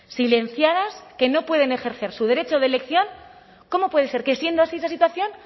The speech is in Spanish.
silenciadas que no pueden ejercer su derecho de elección cómo puede ser que siendo así esa situación